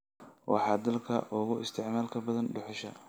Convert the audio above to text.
waa dalka ugu isticmaalka badan dhuxusha